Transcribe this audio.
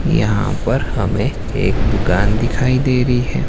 यहां पर हमें एक दुकान दिखाई दे रही है।